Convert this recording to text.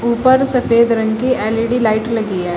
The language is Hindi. ऊपर सफेद रंग की एल_ई_डी लाइट लगी है।